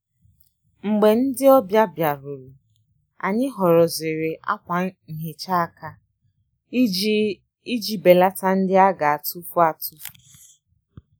Mgbè ndị́ ọ́bị̀à bìárùrù, ànyị́ họ́rọ́zìrì ákwà nhị́chá áká ìjí ìjí bèlàtá ndị́ á gà-àtụ́fù àtụ́fù.